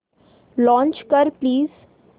launch कर please